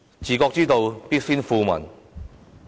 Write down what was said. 治國之道，必先富民。